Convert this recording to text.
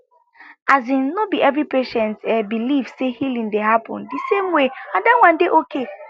asin no be every patient eh believe say healing dey happen di same way and that one dey okay